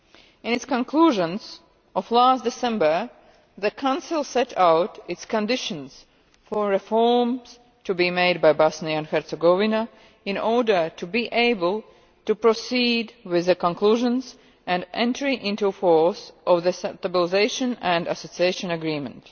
In its conclusions of last December, the Council set out its conditions for reforms to be made by Bosnia and Herzegovina in order to be able to proceed with the conclusions and entry into force of the Stabilisation and Association Agreement.